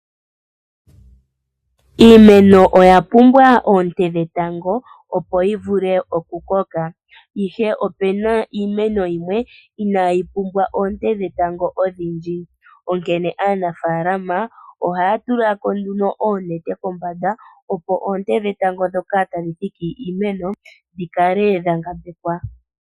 Iimeno oya pumbwa oonte dhetango, opo yivule oku koka. Ihe opena iimeno yimwe inayi pumbwa oonte dhetango odhindji onkene aanafalama ohaya tulako nduno oonete kombanda, opo oonte dhetango ndhoka tadhi thiki kiimeno dhi kale dhangambekwa.